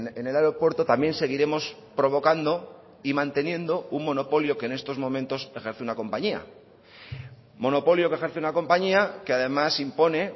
en el aeropuerto también seguiremos provocando y manteniendo un monopolio que en estos momentos ejerce una compañía monopolio que ejerce una compañía que además impone